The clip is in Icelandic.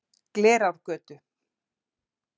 Glerárgötu